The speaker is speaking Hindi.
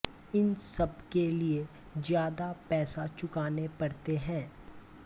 इन सबके लिए ज्यादा पैसे चुकाने पड़ते है